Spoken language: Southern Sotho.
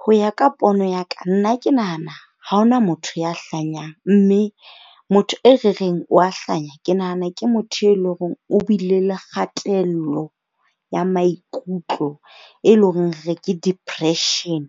Ho ya ka pono ya ka nna ke nahana ha hona motho ya hlanyang. Mme motho e re reng o a hlanya ke nahana ke motho e leng hore o bile le kgatello ya maikutlo, e leng hore re re ke depression.